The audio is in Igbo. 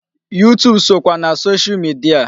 YouTube sokwa na social media.